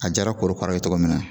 A diyara korokaraw ye cogo min na,